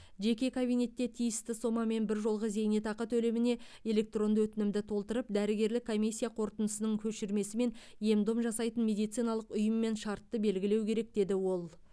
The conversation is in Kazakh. жеке кабинетте тиісті сомамен біржолғы зейнетақы төлеміне электронды өтінімді толтырып дәрігерлік комиссия қорытындысының көшірмесі мен ем дом жасайтын медициналық ұйыммен шартты белгілеу керек деді ол